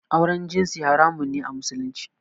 Auren jinsi haramun ne a Musulunci